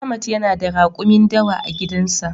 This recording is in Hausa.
Ahmad yana da rakumi dawa a gidan sa.